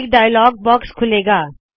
ਇਕ dialog box ਖੁੱਲੇ ਗਾ